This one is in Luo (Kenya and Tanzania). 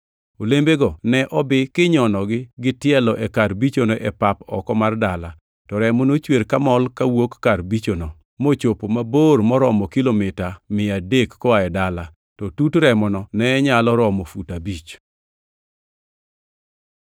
Olembego ne obi kinyonogi gi tielo e kar bichono e pap oko mar dala, to remo nochwer kamol kawuok kar bichono, mochopo mabor moromo kilomita mia adek koa e dala, to tut remono ne nyalo romo fut abich.